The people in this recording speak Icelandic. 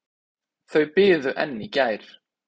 Þau biðu enn í gær.